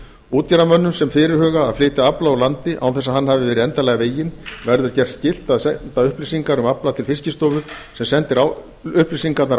útgerðarmönnum sem fyrirhuga að flytja afla úr landi án þess að hann hafi verið endanlega veginn verður gert skylt að senda upplýsingar um afla til fiskistofu sem sendir upplýsingarnar